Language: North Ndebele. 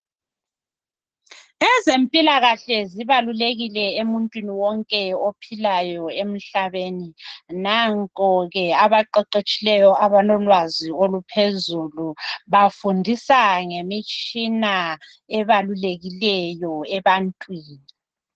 Ezempilakahle zibalulekile emuntwini wonke ophilayo emhlabeni. Nango ke abaqeqetshileyo abalolwazi oluphezulu bafundisa ngemitshina ebalulekileyo ebantwini.